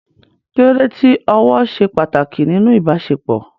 Kí ló dé tí ọ̀wọ̀ ṣe pàtàkì nínú ìbáṣepọ̀?